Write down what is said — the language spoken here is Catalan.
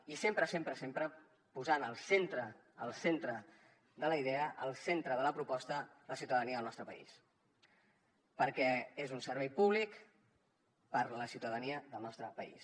i sempre sempre sempre posant al centre de la idea al centre de la proposta la ciutadania del nostre país perquè és un servei públic per a la ciutadania del nostre país